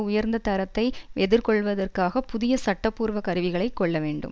உயர்ந்த தரத்தை எதிர்கொள்ளுவதற்காக புதிய சட்டபூர்வ கருவிகளை கொள்ள வேண்டும்